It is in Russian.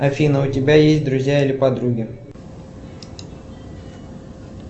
афина у тебя есть друзья или подруги